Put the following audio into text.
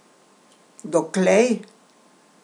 Doklej?